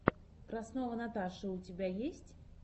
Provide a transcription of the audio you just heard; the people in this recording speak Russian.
краснова наташа у тебя есть